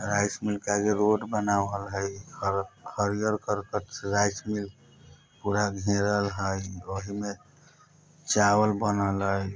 rice mill के आगे road बनावल हई हर हरियल करकट से राइस मिल पूरा घेरल हई औही में चावल बनल हई